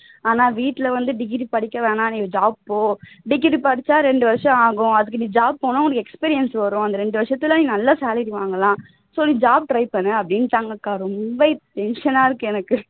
ஆனா வீட்ல வந்து degree படிக்க வேணாம் நீ job போ degree படிச்சா ரெண்டு வருஷம் ஆகும் அதுக்கு நீ job போனா உனக்கு experience வரும் இந்த ரெண்டு வருஷத்துல நீ நல்ல salary வாங்கலாம் so நீ job try பண்ணு அப்படின்னுட்டாங்கக்கா ரொம்ப tension னா இருக்கு எனக்கு